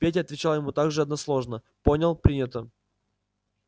петя отвечал ему так же односложно понял принято